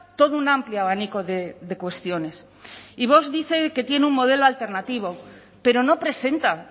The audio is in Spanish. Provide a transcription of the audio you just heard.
todo un amplio abanico de cuestiones y vox dice que tiene un modelo alternativo pero no presenta